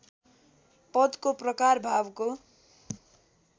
पदको प्रकार भावको